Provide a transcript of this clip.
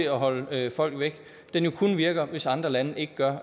at holde folk væk kun virker hvis andre lande ikke gør